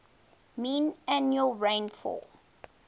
mean annual rainfall